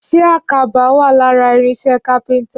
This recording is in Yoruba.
Ṣé àkàbà wà lára irinṣẹ́ kápẹ́ntà?